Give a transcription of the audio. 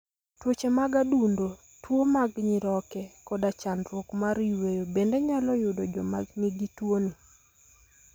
Tuoche mag adundo, tuwo mag nyiroke, koda chandruok mar yweyo bende nyalo yudo joma nigi tuoni.